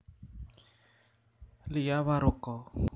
Lia Waroka